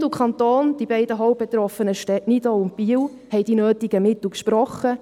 Bund und Kanton, die beiden hauptbetroffenen Städte Nidau und Biel, haben die nötigen Mittel gesprochen;